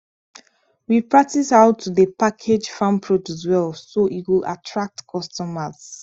we practice how to dey package farm produce well so e go attract customers